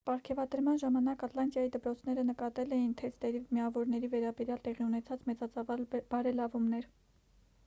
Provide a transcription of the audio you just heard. պարգևատրման ժամանակ ատլանտայի դպրոցները նկատել էին թեստերի միավորների վերաբերյալ տեղի ունեցած մեծածավալ բարելավումները